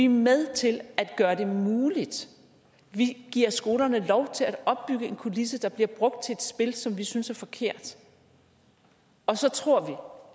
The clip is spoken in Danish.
med til at gøre det muligt vi giver skolerne lov til at opbygge en kulisse der bliver brugt til et spil som vi synes er forkert og så tror